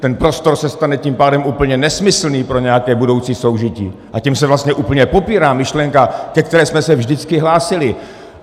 Ten prostor se stane tím pádem úplně nesmyslný pro nějaké budoucí soužití, a tím se vlastně úplně popírá myšlenka, ke které jsme se vždycky hlásili.